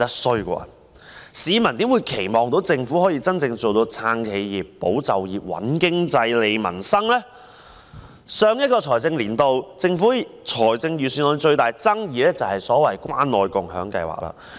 試問市民又怎會期望政府可以真正做到"撐企業、保就業、穩經濟、利民生"？在去年的預算案中，引起最大爭議的是關愛共享計劃。